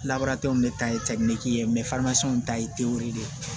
de ta ye ye ta ye tewu de ye